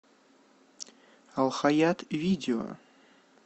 алхаят видео